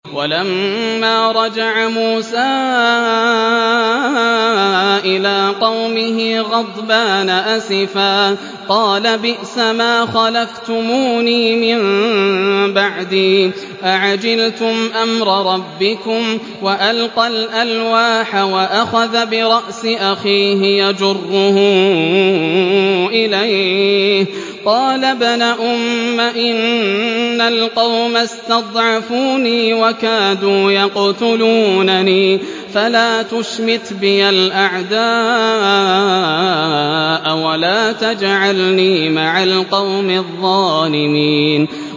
وَلَمَّا رَجَعَ مُوسَىٰ إِلَىٰ قَوْمِهِ غَضْبَانَ أَسِفًا قَالَ بِئْسَمَا خَلَفْتُمُونِي مِن بَعْدِي ۖ أَعَجِلْتُمْ أَمْرَ رَبِّكُمْ ۖ وَأَلْقَى الْأَلْوَاحَ وَأَخَذَ بِرَأْسِ أَخِيهِ يَجُرُّهُ إِلَيْهِ ۚ قَالَ ابْنَ أُمَّ إِنَّ الْقَوْمَ اسْتَضْعَفُونِي وَكَادُوا يَقْتُلُونَنِي فَلَا تُشْمِتْ بِيَ الْأَعْدَاءَ وَلَا تَجْعَلْنِي مَعَ الْقَوْمِ الظَّالِمِينَ